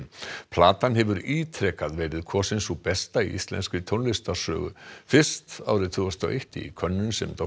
platan hefur ítrekað verið kosin sú besta í íslenskri tónlistarsögu fyrst árið tvö þúsund og eitt í könnun sem